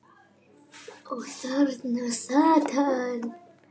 Og þarna sat hann.